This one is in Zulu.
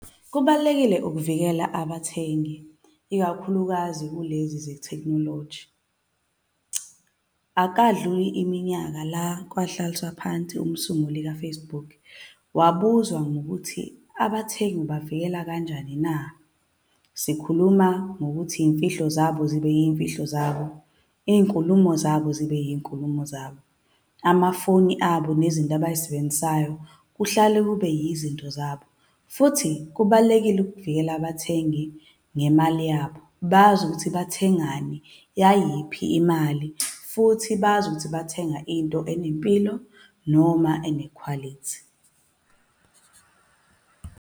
Kubalulekile ukuvikela abathengi, ikakhulukazi kulezi ze-technology. Akukadluli iminyaka la kwahlaliswa phansi umsunguli ka-Facebook, wabuzwa ngokuthi abathengi ubavikela kanjani na? Sikhuluma ngokuthi iy'mfihlo zabo zibe iy'mfihlo zabo. Iy'nkulumo zabo zibe iy'nkulumo zabo. Amafoni abo nezinto abay'sebenzisayo kuhlale kube yizinto zabo. Futhi kubalulekile ukuvikela abathengi ngemali yabo. Bazi ukuthi bathengani, yayiphi imali, futhi bazi ukuthi bathenga into enempilo, noma ane-quality.